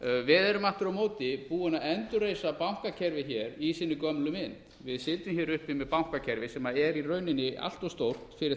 við erum aftur á móti búin að endurreisa bankakerfið hér í sinni gömlu mynd við sitjum hér uppi með bankakerfi sem er í rauninni allt of stórt fyrir